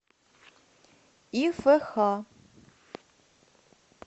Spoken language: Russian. ифх